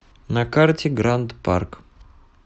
на карте гранд парк